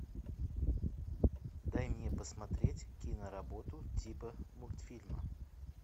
дай мне посмотреть киноработу типа мультфильма